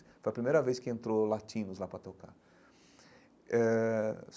Foi a primeira vez que entrou latinos lá para tocar eh.